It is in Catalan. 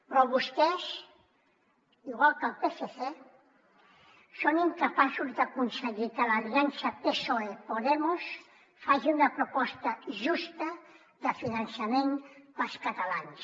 però vostès igual que el psc són incapaços d’aconseguir que l’aliança psoe podemos faci una proposta justa de finançament per als catalans